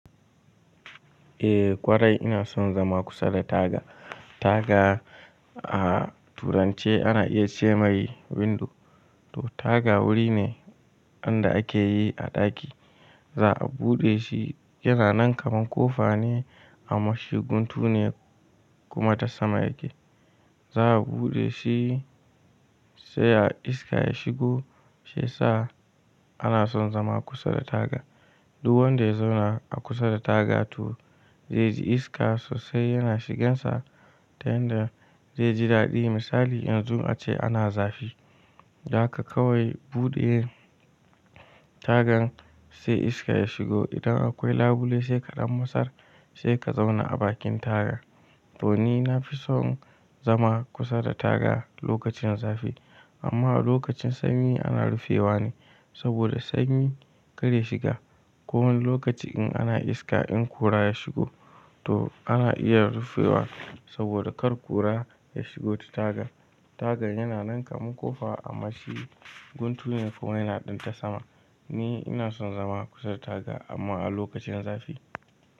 Eh kwara ina son zama kusa da taga. Taga a turance ana iya ce mai window. To taga wuri ne anda akeyi a ɗaki. Za'a buɗe shi yana nan kaman kofa ne amma shi guntu ne kuma ta sama yake. Za'a buɗe shi sai a iska ya shigo. Shiya sa ana son zama kusa da taga. Duk wanda ya zauna a kusa da taga toh zai ji iska sosai yana shiginsa. Ta yanda zai ji daɗi misali yanzu ace ana zafi. Yaka kawai buɗe tagan sai iska ya shigo. Idan akwai labule sai kaɗan mastar sai ka zauna a bakin taga. To ni nafison zama kusa da taga lokacin zafi. Amma a lokacin sanyi ana rufewa ne saboda sanyi kar ya shiga. Ko wani lokaci in ana iska in kura ya shigo toh ana iya rufewa saboda kar kura ya shigo ta tagan. Tagar yana nanka kaman kofa amma shi guntu ne kuma yana ɗanta sama. Ni ina son zama kusa da taga amma a lokacin zafi.